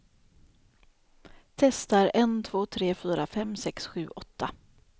Testar en två tre fyra fem sex sju åtta.